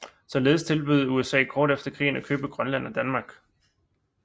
Således tilbød USA kort efter krigen at købe Grønland af Danmark